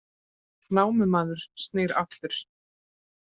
Námumaður snýr aftur